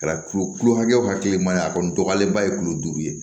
Kɛra tulo kilo hakɛ o hakɛ ma ye a kɔni dɔgɔyalenba ye tulo duuru ye